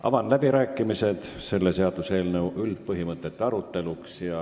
Avan läbirääkimised selle seaduseelnõu üldpõhimõtete aruteluks.